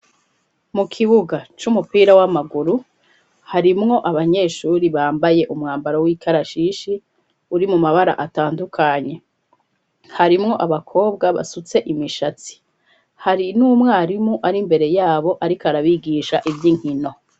Mu kibuga c'umupira w'amaguru harimwo abanyeshuri bambaye umwambaro w'ikarashishi uri mu mabara atandukanye harimwo abakobwa basutse imishatsi hari n'umwarimu ari mbere yabo ariko arabigisha iby'inkino.